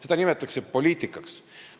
Seda nimetatakse poliitikaks.